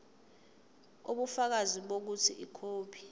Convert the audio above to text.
ubufakazi bokuthi ikhophi